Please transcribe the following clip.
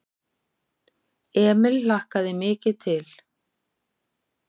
Emil hlakkaði mikið til.